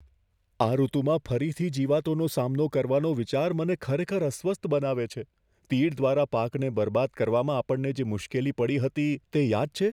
આ ઋતુમાં ફરીથી જીવાતોનો સામનો કરવાનો વિચાર મને ખરેખર અસ્વસ્થ બનાવે છે. તીડ દ્વારા પાકને બરબાદ કરવામાં આપણને જે મુશ્કેલી પડી હતી, તે યાદ છે?